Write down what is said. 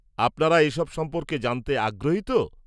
-আপনারা এসব সম্পর্কে জানতে আগ্রহী তো?